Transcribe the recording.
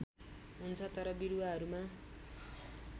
हुन्छ तर बिरुवाहरूमा